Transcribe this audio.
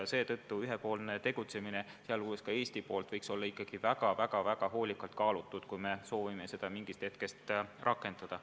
Seetõttu ühepoolne tegutsemine, sh Eesti poolt, võiks olla ikkagi väga-väga hoolikalt kaalutud, kui me soovime oma plaani mingist hetkest rakendada.